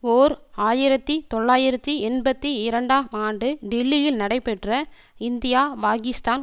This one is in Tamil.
ஓர் ஆயிரத்தி தொள்ளாயிரத்தி எண்பத்தி இரண்டாம் ஆண்டு டில்லியில் நடைபெற்ற இந்தியாபாகிஸ்தான்